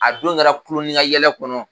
A don kɛra kulo ni ka yɛlɛ kɔnɔ.